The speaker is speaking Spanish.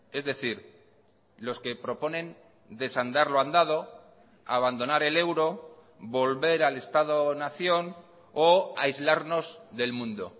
es decir los que proponen desandar lo andado abandonar el euro volver al estado nación o aislarnos del mundo